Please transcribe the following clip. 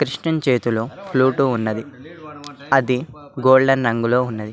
కృష్ణుని చేతిలో ఫ్లూటు ఉన్నది అది గోల్డెన్ రంగులో ఉన్నది.